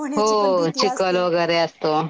हो चिखल वगैरे असतो.